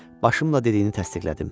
Başımla dediyini təsdiqlədim.